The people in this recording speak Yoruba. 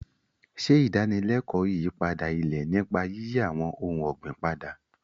Ṣe ìdánilẹ́kọ̀ọ́ ìyípadà ilẹ̀ nípa yíyí àwọn ohun ọ̀gbìn padà.